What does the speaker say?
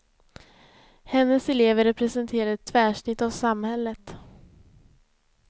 Hennes elever representerar ett tvärsnitt av samhället.